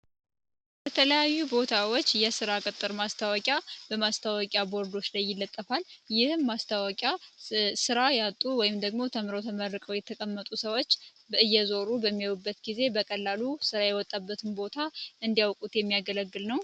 በተለያዩ ቦታዎች የ ሥራ ቅጥር ማስታወቂያ በማስታወቂያ ቦርዶች ላይ እይለጠፋል ይህም ማስታዋቂያ ሥራ ያጡ ወይም ደግሞ ተምሮ ተመርቀው የተቀመጡ ሰዎች እየዞሩ በሚውበት ጊዜ በቀላሉ ሥራ ይወጣበትን ቦታ እንዲያውቁት የሚያገለግል ነው